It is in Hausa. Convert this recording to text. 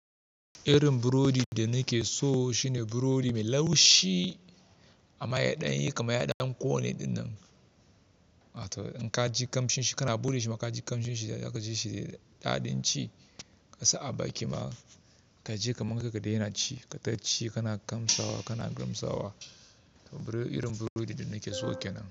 Irin burodi da nake so shine burodi mai laushi a mayaɗan yi ka mayaɗan ko ne dinnan. In ka ji kamshin shi kana buɗe shi ma ka ji kamshin shi da ka ji shi da daɗin ci, ka sa a bakin ma ka ji kamar kake dai yana ci. Kai tachi kana kamsawa kana girmsawa. Irin burodi da nake so kenan.